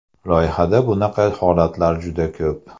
Loyihada bunaqa holatlar juda ko‘p.